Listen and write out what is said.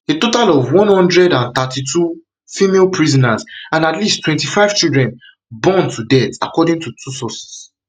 a total of one hundred and thirty-two female prisoners and at least twenty-five children burn to burn to death according to two sources